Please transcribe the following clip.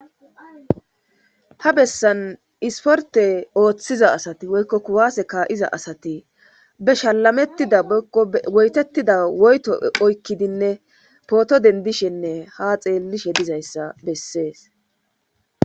Ha bessan isporte ooththiza asati woykko kuwaase ka7iza asati be shalamettida woytettida woyto oykkidinne pooto dendishenne ha xeellishe dizayssa bessees